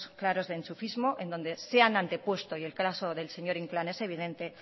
claros de enchufismo en donde se han antepuesto y el caso del señor inclán es evidente